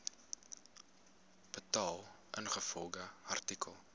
betaal ingevolge artikel